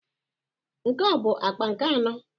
Nke a ọ bụ akpa nke anọ?